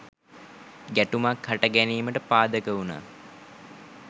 ගැටුමක් හට ගැනීමට පාදක වුනා.